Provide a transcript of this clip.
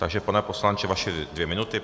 Takže pane poslanče, vaše dvě minuty.